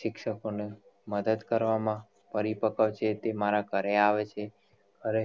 શિક્ષકો ને મદદ કરવામાં પરિપક્વ છે તે મારા ઘરે આવે છે અને